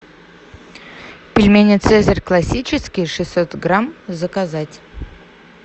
пельмени цезарь классический шестьсот грамм заказать